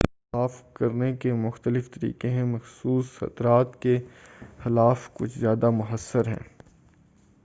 پانی کو صاف کرنے کے مختلف طریقے ہیں مخصوص خطرات کے خلاف کچھ زیادہ مؤثر ہیں